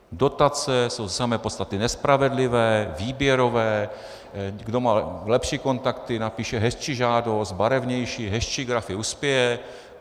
Dotace jsou v samé podstatě nespravedlivé, výběrové, kdo má lepší kontakty, napíše hezčí žádost, barevnější, hezčí grafy, uspěje.